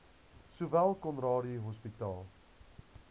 sowel conradie hospitaal